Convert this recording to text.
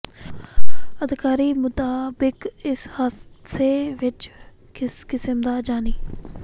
ਅਧਿਕਾਰੀਆਂ ਮੁਤਾਬਕ ਇਸ ਹਾਦਸੇ ਵਿਚ ਕਿਸੇ ਕਿਸਮ ਦਾ ਜਾਨੀ